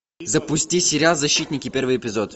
запусти сериал защитники первый эпизод